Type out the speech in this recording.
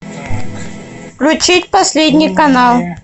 включить последний канал